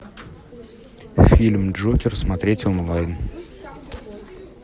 фильм джокер смотреть онлайн